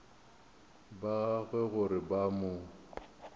ba gagwe gore ba mo